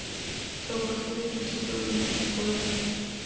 tlhobogile dithuto mme nko yona